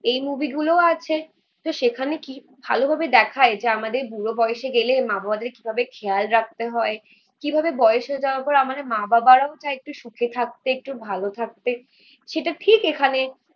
এই মুভি গুলোও আছে. তো সেখানে কি ভালোভাবে দেখায় যে আমাদের বুড়ো বয়সে গেলে মা বাবাদের কিভাবে খেয়াল রাখতে হয় কিভাবে বয়স হয়ে যাওয়ার পর আমাদের মা বাবারাও চায় একটু সুখে থাকতে একটু ভালো থাকতে. সেটা ঠিক এখানে